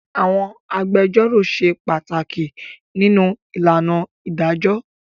Àwọn agbẹjọ́rò ṣe pàtàkì nínú ìlànà ìdájọ́.